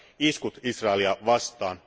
iskut Israelia vastaan.